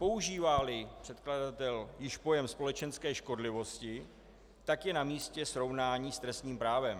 Používá-li předkladatel již pojem společenské škodlivosti, tak je namístě srovnání s trestním právem.